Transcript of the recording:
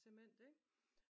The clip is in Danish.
Cement ik